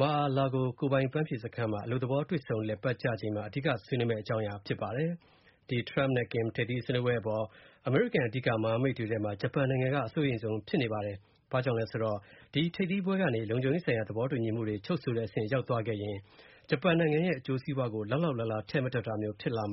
Mar-a-Lago ကိုယ်ပိုင်အပန်းဖြေစခန်းမှာ အလုပ်သဘော တွေ့ဆုံလည်ပတ်ကြချိန်မှာ အဓိက ဆွေးနွေးမယ့် အကြောင်းအရာဖြစ်ပါတယ်။ ဒီ Trump နဲ့ ကင် ထိပ်သီးဆွေးနွေးပွဲအပေါ် အမေရိကန်အဓိက မဟာမိတ်တွေထဲမှာ ဂျပန်နိုင်ငံက အစိုးရိမ်ဆုံးဖြစ်နေပါတယ်။ ဘာကြောင့်လဲဆိုတော့ ဒီ ထိပ်သီးပွဲကနေ လုံခြုံရေးဆိုင်ရာသဘောတူညီမှုတွေချုပ်ဆိုတဲ့အဆင့်ရောက်သွားရင် ဂျပန်နိုင်ငံအကျိုးစီးပွားကို လောက်လောက်လားလား ထည့်မတွက်တာမျိုး ဖြစ်သွားမှာ